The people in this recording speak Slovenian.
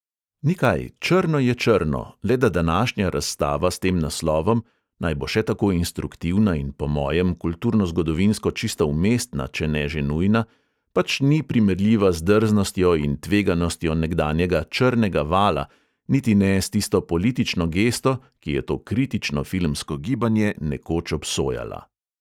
Ni kaj, črno je črno, le da današnja razstava s tem naslovom – naj bo še tako instruktivna in po mojem kulturnozgodovinsko čisto umestna, če ne že nujna – pač ni primerljiva z drznostjo in tveganostjo nekdanjega "črnega vala" niti ne s tisto politično gesto, ki je to kritično filmsko gibanje nekoč obsojala.